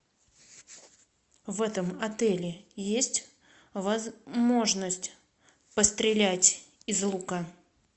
в этом отеле есть возможность пострелять из лука